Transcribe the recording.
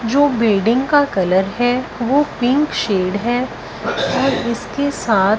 जो बिल्डिंग का कलर है वो पिंक शेड है और इसके साथ--